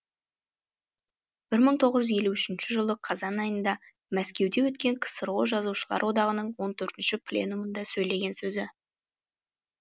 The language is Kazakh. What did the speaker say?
бір мың тоғыз жүз елу үшінші жылы қазан айында мәскеуде өткен ксро жазушылар одағының он төртінші пленумында сейлеген сөзі